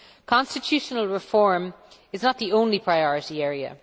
Constitutional reform is not the only priority area.